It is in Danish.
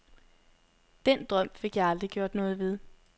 Den drøm fik jeg aldrig gjort noget ved.